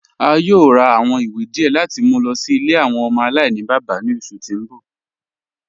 A yòò rà awọn ìwé díẹ̀ láti mú lọ sí ilẹ̀ awọn ọmọ alainibaba ní oṣù tí n bọ̀.